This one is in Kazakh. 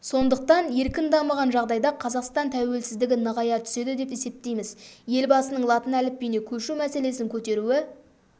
сондықтан еркін дамыған жағдайда қазақстан тәуелсіздігі нығая түседі деп есептейміз елбасының латын әліпбиіне көшу мәселесін көтеруі